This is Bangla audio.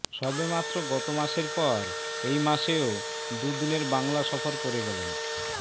সবেমাত্র গত মাসের পর এই মাসেও দুদিনের বাংলা সফর করে গেলেন